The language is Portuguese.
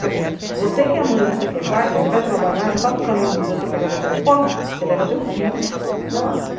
Quer dizer, você que é mãe e você que é pai, você vai trabalhar, já tá no caminho de você pegar o transporte, você leva teu filho até lá.